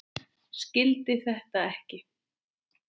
Skildi þetta ekki.